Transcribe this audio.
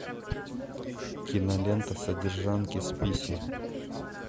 кинолента содержанки